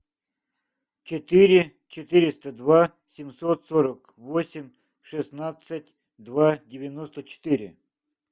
четыре четыреста два семьсот сорок восемь шестнадцать два девяносто четыре